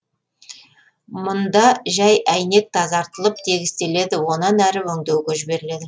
мында жәй әйнек тазартылып тегістеледі онан әрі өңдеуге жіберіледі